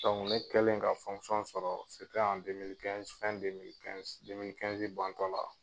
Dɔnku ne kɛlen ka sɔrɔ kɔnna la.